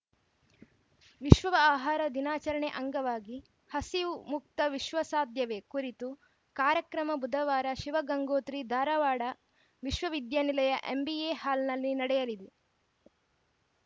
ವಿಶ್ವ ಆಹಾರ ದಿನಾಚರಣೆ ಅಂಗವಾಗಿ ಹಸಿವು ಮುಕ್ತ ವಿಶ್ವ ಸಾಧ್ಯವೇ ಕುರಿತು ಕಾರ್ಯಕ್ರಮ ಬುಧವಾರ ಶಿವಗಂಗೋತ್ರಿ ಧಾ ರವಾಡ ವಿಶ್ವ ವಿದ್ಯಾನಿಲಯ ಎಂಬಿಎ ಹಾಲ್‌ನಲ್ಲಿ ನಡೆಯಲಿದೆ